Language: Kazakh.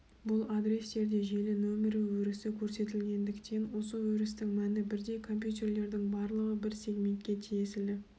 бұл адрестерде желі нөмірі өрісі көрсетілгендіктен осы өрістің мәні бірдей компьютерлердің барлығы бір сегментке тиеселі